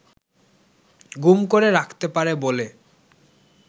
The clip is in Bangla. গুম করে রাখতে পারে বলে